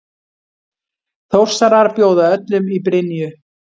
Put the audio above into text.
Þórsarar bjóða öllum í Brynju!